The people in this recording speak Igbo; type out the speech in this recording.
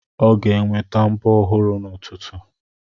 Ọ ga-enweta mbọ ọhụrụ n'ụtụtụ.